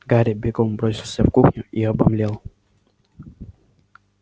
гарри бегом бросился в кухню и обомлел